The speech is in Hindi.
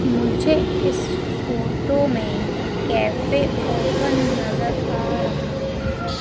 मुझे इस फोटो में कैफे ओपन नजर आ रहा है।